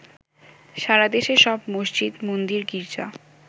সারাদেশে সব মসজিদ, মন্দির, গির্জা